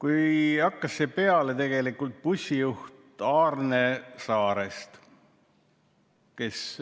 See hakkas peale bussijuht Aarne Saarest.